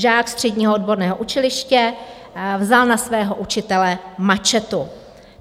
Žák středního odborného učiliště vzal na svého učitele mačetu.